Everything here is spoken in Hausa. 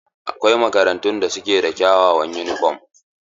Akwai makarantun da suke da kyawawan yunifom.